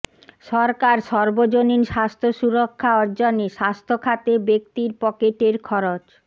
সরকার সর্বজনীন স্বাস্থ্য সুরক্ষা অর্জনে স্বাস্থ্য খাতে ব্যক্তির পকেটের খরচ